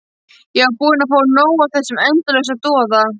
Ég var búin að fá nóg af þessum endalausa doða.